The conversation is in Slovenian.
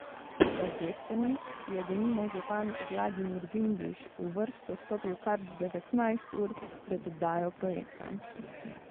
Za Destrnik je denimo župan Vladimir Vindiš v vrsto stopil kar devetnajst ur pred oddajo projekta.